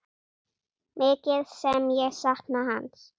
Mikið sem ég sakna hans.